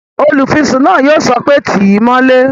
Olùfisùn náà yóò sọ pé "tíì mọ́lé!"